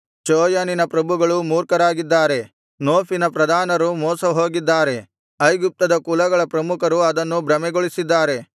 ಚೋಯನಿನ ಪ್ರಭುಗಳು ಮೂರ್ಖರಾಗಿದ್ದಾರೆ ನೋಫಿನ ಪ್ರಧಾನರು ಮೋಸ ಹೋಗಿದ್ದಾರೆ ಐಗುಪ್ತದ ಕುಲಗಳ ಪ್ರಮುಖರು ಅದನ್ನು ಭ್ರಮೆಗೊಳಿಸಿದ್ದಾರೆ